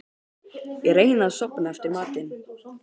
Ég reyni að sofna eftir matinn.